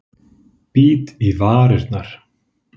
Bít í varirnar.